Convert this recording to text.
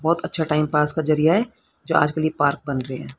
बहोत अच्छा time pass का जरिया है जो आज के लिए पार्क बन रहे हैं।